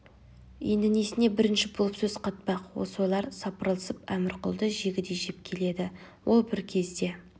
енді несіне бірінші болып сөз қатпақ осы ойлар сапырылысып әмірқұлды жегідей жеп келеді ол бір кезде